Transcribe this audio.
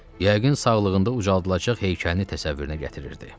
Yəqin sağlığında ucaldılacaq heykəlini təsəvvürünə gətirirdi.